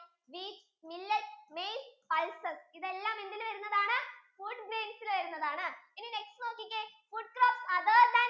rice, wheat, millet, maize, pulses ഇതെല്ലം എന്തിൽ വരുന്നതാണ്? food grains ഇൽ വരുന്നതാണ് ഇനി next നോക്കിക്കേ food crops other than